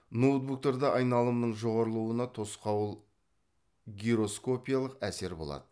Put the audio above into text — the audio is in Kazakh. ноутбуктарда айналымның жоғарылауына тосқауыл гироскопиялық әсер болады